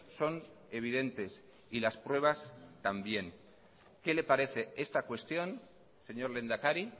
son evidentes y las pruebas también que le parece esta cuestión señor lehendakari